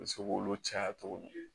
U bɛ se k'olu caya cogo min